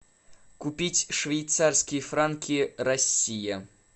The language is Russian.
купить швейцарские франки россия